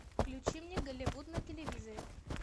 включи мне голливуд на телевизоре